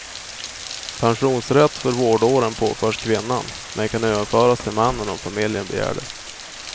Pensionsrätt för vårdåren påförs kvinnan, men kan överföras till mannen om familjen begär det.